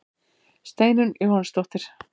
Steinunn Jóhannesdóttir.